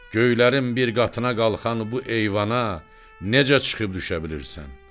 Göylərin bir qatına qalxan bu eyvana necə çıxıb düşə bilirsən?